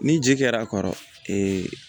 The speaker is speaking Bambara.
Ni ji kɛr'a kɔrɔ ee